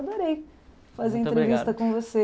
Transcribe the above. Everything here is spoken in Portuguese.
Adorei fazer entrevista com você.